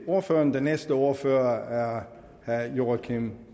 ordføreren den næste ordfører er herre joachim